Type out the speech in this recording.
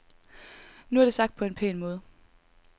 Nu er det sagt på en pæn måde.